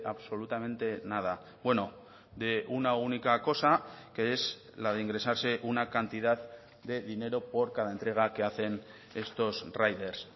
absolutamente nada bueno de una única cosa que es la de ingresarse una cantidad de dinero por cada entrega que hacen estos riders